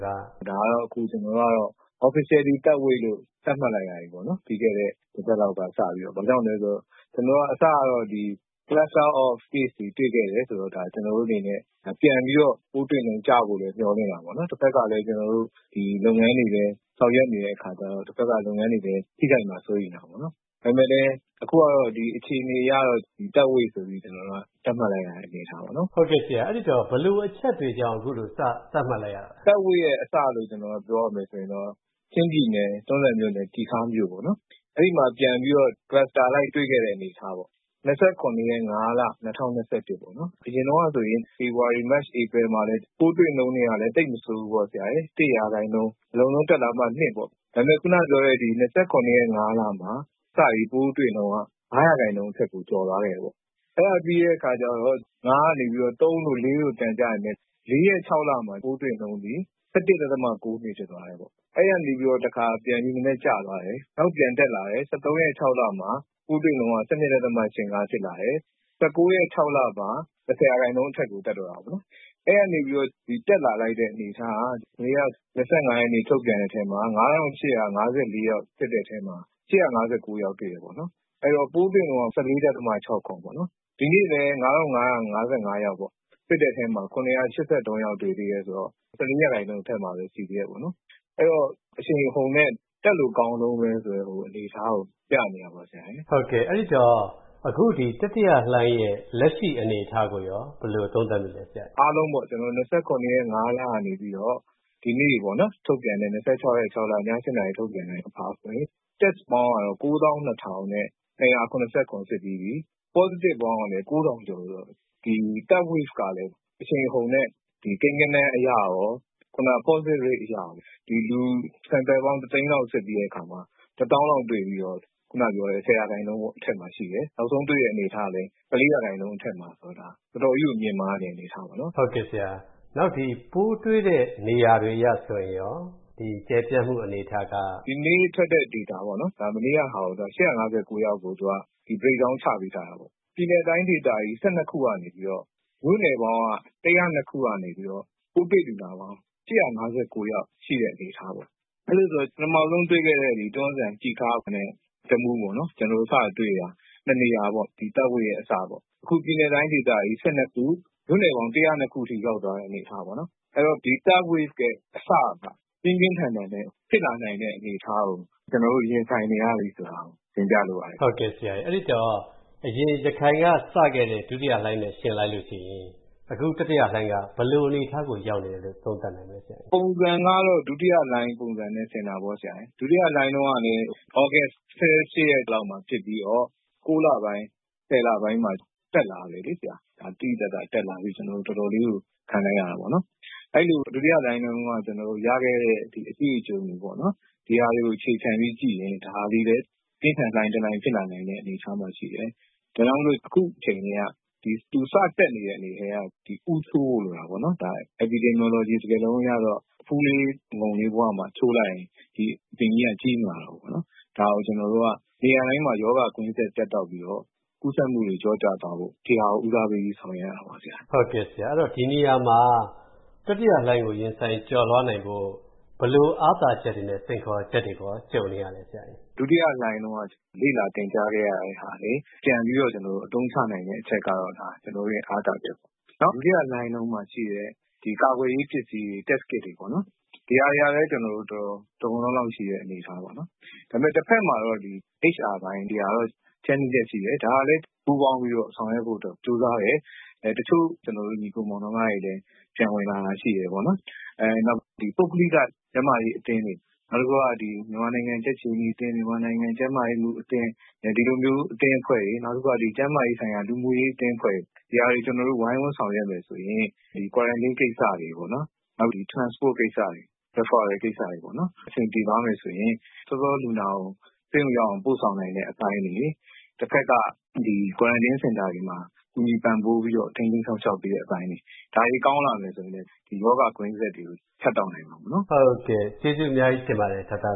“ဒါကတော့ အခု ကျေနာ်တို့က Officially Third Wave လို့ သတ်မှတ်လိုက်ရပြီပေါ့။ ပြီးခဲ့တဲ့ တပတ်လောက်က စပြီးတော့။ ဘာကြောင့်လဲဆိုတော့ အစကတော့ Cluster of Case တွေ တွေ့ခဲ့တယ်ဆိုတော့ ကျနော်တို့အနေနဲ့ ပြန်ပြီးတော့ ပိုးတွေ့နှုန်း ကျဖို့လည်း မျှော်လင့်တာပေါ့။ တဖက်ကလည်း ကျေနာ်တို့ လုပ်ငန်းတွေလည်း ဆောင်ရွက်နေတဲ့အခါကြတော့ တဖက်က လုပ်ငန်းတွေလည်း ထိခိုက်မှာ စိုးရိမ်တာပေါ့။ ဒါပေမယ့်လည်း အခုကတော့ အခြေအနေအရတော့ Third Wave ဆိုပြီး သတ်မှတ်လိုက်ရတဲ့ အနေအထားပေါ့။” ကိုဝင်းမင်း - ဘယ်လိုအချက်တွေကြောင့် အခုလို စသတ်မှတ်လိုက်ရတာလဲ။ “Third Wave ရဲ့အစလို့ ပြောရမယ်ဆိုရင်တော့ ချင်းပြည်နယ်၊ တွန်းဇံမြို့နယ်၊ ကျီခါးမြို့ပေါ့၊ အဲဒီမှာ ပြန်ပြီးတော့ Cluster အလိုက် တွေ့ခဲ့တဲ့ အနေအထားပေါ့။ ၂၇-၅-၂၀၂၁ ပေါ့၊ အရင်တုန်းကဆိုရင် ဖေဖော်ဝါရီ၊ မတ်၊ ဧပြီမှာလည်း ပိုးတွေ့နှုန်းတွေကလည်း သိပ်မဆိုးဘူးပေါ့။ ၁ ရာခိုင်နှုန်း၊ အလွန်ဆုံး တက်လာမှ ၂ ရာခိုင်နှုန်း၊ ဒါပေမယ့် ခုနပြောတဲ့ ၂၇ ရက် ၅ လမှာ စပြီး ပိုးတွေ့နှုန်းက ၅ ရာခိုင်နှုန်းအထက်ကို ကျော်သွားခဲ့တယ်။ အဲဒါပြီးတော့ ၅ ကနေ ၃ တို့ ၄ တို့ ပြန်ကျပေမယ့် ၄ ရက် ၆ လမှာ ပိုးတွေ့နှုန်းသည် ၁၁ ဒသမ ၉၂ ဖြစ်သွားတယ်။ အဲဒီကနေ တခါ ပြန်ပြီး နည်းနည်းကျသွားတယ်။ နောက် ပြန်တက်လာတယ်။ ၁၃ ရက် ၆ လမှာ ပိုးတွေ့နှုန်းက ၁၂ ဒသမ ၈၅ ဖြစ်လာတယ်။ ၁၉ ရက် ၆ လမှာ ၁၀ ရာခိုင်နှုန်းအထက်ကို တက်သွားတာပေါ့။ အဲဒီကနေ တက်လာလိုက်တဲ့ အနေအထားက ၂၅ ရက်နေ့ ထုတ်ပြန်တဲ့အထဲမှာ ၅,၈၅၄ ယောက် စစ်တဲ့အထဲမှာ ၈၅၉ ယောက်တွေ့တယ်။ အဲတော့ ပိုးတွေ့နှုန်းက ၁၄ ဒသမ ၆၇ ပေါ့။ ဒီနေ့လည်း ၅,၅၅၅ ယောက်ပေါ့ စစ်တဲ့အထဲမှာ ၇၈၃ ယောက် တွေ့သေးတယ်ဆိုတော့ ၁၄ ရာခိုင်နှုန်း အထက်မှာပဲ ရှိသေးတယ်။ အဲ့တော့ အရှိန်အဟုန်နဲ့ တက်လို့ကောင်းတုန်းဆိုတဲ့ အနေအထားကို ပြနေတာပေါ့။” ကိုဝင်းမင်း - အဲဒီတော့ အခု တတိယလှိုင်းရဲ့ လက်ရှိအနေအထားကိုရော ဘယ်လိုသုံးသပ်မိလဲ ဆရာ။ “အားလုံးပေါ့ ၂၇ ရက် ၅ လကနေပြီးတော့ ဒီနေ့ ၂၆ ရက် ၆ လ ည ၈ နာရီ ထုတ်ပြန်ချက်အရဆိုရင် Test ပေါင်းကတော့ ၉၂,၂၇၇ စစ်ပြီးပြီ။ Positive ပေါင်းကလည်း ၉,၀၀၀ ကျော်ဆိုတော့ ဒီ Third Wave ကလည်း အရှိန်အဟုန်နဲ့ ကိန်းဂဏန်းအရရော Positive Rate အရရော လူ တသိန်းလောက် စစ်ပြီးတဲ့အခါမှာ တသောင်းလောက်တွေ့ပြီး ၁၀ ရာခိုင်နှုန်းအထက်မှာရှိတယ်။ နောက်ဆုံးတွေ့တဲ့ အနေအထားကလည်း ၁၄ ရာခိုင်နှုန်း အထက်မှာဆိုတော့ ဒါ တော်တော်ကြီးကို မြင့်မားနေတဲ့ အနေအထားပေါ့။” ကိုဝင်းမင်း - ပိုးတွေ့တဲ့ နေရာတွေအရ ဆိုရင်ရော ကျယ်ပြန့်မှုအနေအထားက။ “ဒီနေ့ထွက်တဲ့ Data ပေါ့ မနေ့ကဆို ၈၅၉ ယောက်ကို Breakdown ချပေးထားတာပေါ့။ ပြည်နယ် တိုင်းဒေသကြီး ၁၂ ကနေပြီးတော့ မြို့နယ်ပေါင်း ၁၀၂ ခုကနေပြီးတော့ ပိုးတွေ့လူနာပေါင်း ၈၅၉ ယောက်ရှိတဲ့ အနေအထားပေါ့။ အဲဒီတော့ ပထမဆုံးတွေ့ခဲ့တဲ့ တွန်းဇံ၊ ကျီခါးနဲ့ တမူးပေါ့ စတွေ့တာ နှစ်နေရာပေါ့၊ ဒီ Third Wave ရဲ့ အစပေါ့။ အခု ပြည်နယ် တိုင်းဒေသကြီး ၁၂ ခု၊ မြို့နယ်ပေါင်း ၁၀၂ ခုအထိ ရောက်သွားတဲ့ အနေအထားပေါ့။ အဲဒီတော့ ဒီ Third Wave ရဲ့အစက ပြင်းပြင်းထန်ထန်နဲ့ ဖြစ်လာနိုင်တဲ့ အနေအထားကို ကျနော်တို့ ရင်ဆိုင်နေရပြီ ဆိုတာကို တင်ပြလိုပါတယ်။” ကိုဝင်းမင်း - အဲဒီတော့ အရင် ရခိုင်ကစခဲ့တဲ့ ဒုတိယလှိုင်းနဲ့ ယှဉ်လိုက်ရင် အခု တတိယလှိုင်းက ဘယ်လိုအနေအထားကို ရောက်နေတယ်လို့ သုံးသပ်နိုင်မလဲ။ “ပုံစံကတော့ ဒုတိယလှိုင်းပုံစံနဲ့ ဆင်တာပေါ့။ ဒုတိယလှိုင်းတုန်းကလည်း သြဂုတ် ၁၈ ရက်လောက်မှာ ဖြစ်ပြီးတော့ ၉ လပိုင်း၊ ၁၀ လပိုင်းမှာ တက်လာတယ်။ သိသိသာသာတက်လာပြီး ကျနော်တို့ တော်တော်လေးကို ခံလိုက်ရတာပေါ့။ အဲဒီလို ဒုတိယလှိုင်းတုန်းက ရခဲ့တဲ့ အတွေ့အကြုံတွေကို အခြေခံပြီး ကြည့်ရင် ဒါသည်လည်း ပြင်းထန်တဲ့လှိုင်းတလှိုင်း ဖြစ်လာနိုင်တဲ့ အနေအထားမှာရှိတယ်။ ဒါကြောင့်မို့ အခုအချိန် သူ စတက်နေတဲ့ အချိန်ကတည်းက ဦးချိုးဖို့ လိုတာပေါ့။ Epidemiology စကားလုံးအရတော့ အဖူးလေး အငုံလေးဘဝမှာ ချိုးလိုက်ရင် ဒီအပင်ကြီးက ကြီးမလာတော့ဘူးပေါ့။ ဒါကို ကျနော်တို့က နေရာတိုင်းမှာ ရောဂါကွင်းဆက် ပြတ်တောက်ပြီးတော့ ကူးစက်မှုတွေ လျော့ကျသွားဖို့ ဦးစားပေးပြီး ဆောင်ရွက်ရတာပေါ့။” ကိုဝင်းမင်း - ဒီနေရာမှာ တတိယလှိုင်းကို ရင်ဆိုင် ကျော်လွှားနိုင်ဖို့ ဘယ်လို အားသာချက်တွေနဲ့ စိန်ခေါ်ချက်တွေကို ကြုံနေရလဲ။ “ဒုတိယလှိုင်းတုန်းက လေ့လာ သင်ကြားခဲ့ရတာတွေ ပြန်ပြီးတော့ အသုံးချနိုင်တဲ့ အချက်ကတော့ ကျနော်တို့ရဲ့ အားသာချက်ပေါ့။ ဒုတိယလှိုင်းတုန်းကရှိတဲ့ ကာကွယ်ရေးပစ္စည်းတွေ Test Kit တွေပေ့ါ ဒီဟာတွေကလည်း တော်တော် လုံလုံလောက်လောက်ရှိတဲ့ အနေအထားပေါ့။ ဒါပေမယ့် တဖက်မှာ HR ပိုင်း ဒီဟာတော့ Challenges ရှိတယ်။ ဒီဟာလည်း ပူးပေါင်းပြီးတော့ ဆောင်ရွက်ဖို့ ကြိုးစားတယ်။ တချို့ ညီအစ်ကို မောင်နှမတွေလည်း ပြန်ဝင်လာတာ ရှိတယ်ပေါ့။ နောက် ပုဂ္ဂလိက ကျန်းမာရေးအသင်းတွေ၊ မြန်မာနိုင်ငံ ကြက်ခြေနီအသင်း၊ မြန်မာနိုင်ငံ ကျန်းမာရေးမှူးအသင်း၊ ဒီလိုမျိုး အသင်းအဖွဲ့တွေ၊ နောက်တခုက ကျန်းမာရေးဆိုင်ရာ လူမှုရေးအသင်းအဖွဲ့တွေ ဒီဟာတွေ ဝိုင်းဝန်းဆောင်ရွက်မယ်ဆိုရင်၊ Quarantine ကိစ္စတွေ၊ Transport ကိစ္စတွေ၊ Referal ကိစ္စတွေ အဆင်ပြေသွားမယ်ဆိုရင် စောစော လူနာကို ဆေးရုံရောက်အောင် ပို့ဆောင်နိုင်တဲ့ အပိုင်းတွေ၊ တဖက်က Quarantine စင်တာတွေမှာ ကူညီပံ့ပိုးပြီး ထိန်းသိမ်းစောင့်ရှောက်ပေးတဲ့ အပိုင်းတွေ ဒါတွေ ကောင်းလာမယ်ဆိုရင်လည်း ရောဂါ ကွင်းဆက်တွေကို ဖြတ်တောက်နိုင်မှာပေါ့။” ကိုဝင်းမင်း - ဟုတ်ကဲ့၊ ကျေးဇူးအများကြီးတင်ပါတယ် ဒေါက်တာ